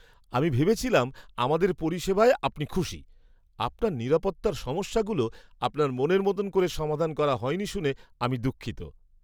আমি ভেবেছিলাম আমাদের পরিষেবায় আপনি খুশি। আপনার নিরাপত্তার সমস্যাগুলো আপনার মনের মতো করে সমাধান করা হয়নি শুনে আমি দুঃখিত।